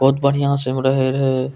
बहुत बढ़िया से ओय मे रहे रहे।